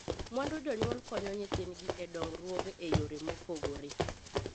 Mwandu jonyuol konyo nyithindgi e dongruoge e yore mopogore.